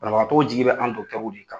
Banabagatɔw jigi bɛ an' w de kan.